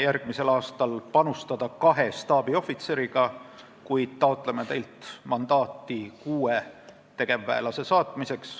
Järgmisel aastal plaanime panustada kahe staabiohvitseriga, kuid taotleme teilt mandaati kuue tegevväelase missioonile saatmiseks.